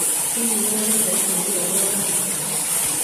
Hihi nĩ wonete ũteithio ũrĩa ũrabatara?